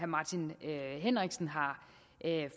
martin henriksen har